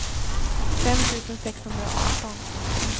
fem tusen sexhundraarton